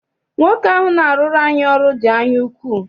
Nwoke ahụ na-arụrụ anyị ọrụ dị anyaukwu.